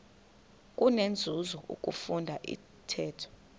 kunenzuzo ukufunda intetho